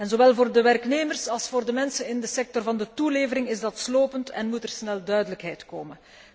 Zowel voor de werknemers als voor de mensen in de sector van de toelevering is dat slopend en moet er snel duidelijkheid komen.